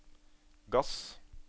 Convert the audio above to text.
gass